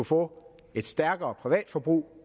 få et stærkere privatforbrug